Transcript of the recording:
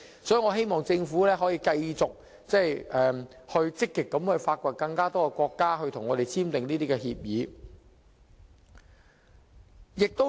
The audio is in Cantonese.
所以，我希望政府可以繼續積極與更多國家探討簽訂有關協議。